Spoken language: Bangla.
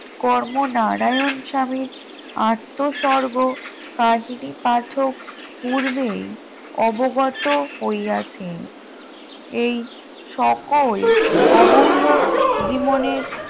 কর্মনারায়ণ স্বামীর আত্মস্বর্গ কাহিনী পাঠক পূর্বেই অবগত হইয়াছে এই সকল অমূল্য জীবনের